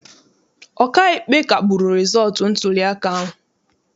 Ọkaikpe kagburu rịzọọtụ ntuliaka ahụ.